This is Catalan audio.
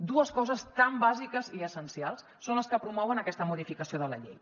dues coses tan bàsiques i essencials són les que promouen aquesta modificació de la llei